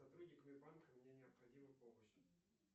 сотрудниками банка мне необходима помощь